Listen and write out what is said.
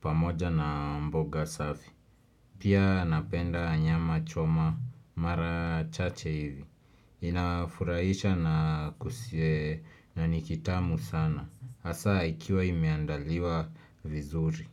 pamoja na mboga safi. Pia napenda nyama choma mara chache hivi. Inafurahisha na nikitamu sana. Hasa ikiwa imeandaliwa vizuri.